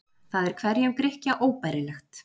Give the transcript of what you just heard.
Það er hverjum Grikkja óbærilegt.